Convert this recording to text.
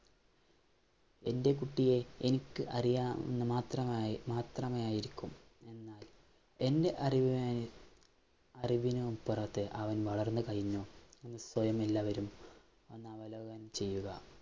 എന്‍റെ കുട്ടിയെ എനിക്കറിയാം എന്നുമാത്രമായി മാത്രമേയായിരിക്കും എന്‍റെ അറിവിനായി അറിവിനുമപ്പുറത്ത് അവൻ വളർന്നുകഴിഞ്ഞു എന്ന് സ്വയമെല്ലാവരും ഒന്നവലോകനം ചെയ്യുക.